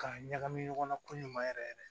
K'a ɲagami ɲɔgɔnna ko ɲuman yɛrɛ yɛrɛ